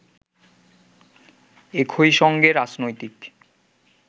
একই সঙ্গে রাজনৈতিক